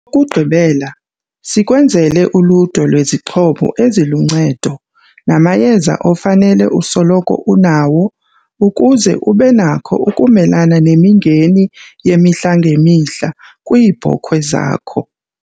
kugqibela, sikwenzele uludwe lwezixhobo eziluncedo namayeza ofanele usoloko unawo ukuze ube nakho ukumelana nemingeni yemihla ngemihla kwiibhokhwe zakho.